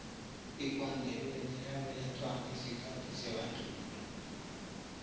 ikwandebele yabelethwa ngesikhathi sebandlululo